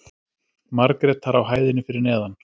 Margrétar á hæðinni fyrir neðan.